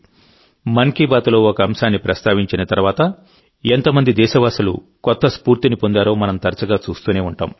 మన్ కీ బాత్లో ఒక అంశాన్ని ప్రస్తావించిన తర్వాత ఎంత మంది దేశస్థులు కొత్త స్ఫూర్తిని పొందారో మనం తరచుగా చూస్తూనే ఉంటాం